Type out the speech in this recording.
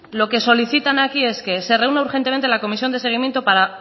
lo que solicitan aquí es que se reúna urgentemente la comisión de seguimiento para